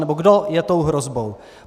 Nebo kdo je tou hrozbou?